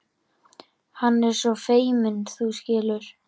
Hann er svo feiminn, þú skilur.